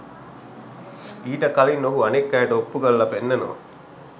ඊට කලින් ඔහු අනෙක් අයට ඔප්පු කරලා පෙන්වනවා